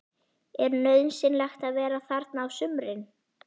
Er nauðsynlegt að vera þarna á sumrin?